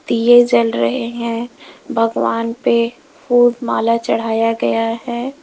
दिए जल रहे है भगवान पे फूल माला चढ़ाया गया है।